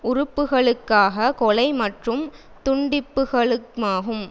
உறுப்புக்களுக்கான கொலை மற்றும் துண்டிப்புக்களுமாகும்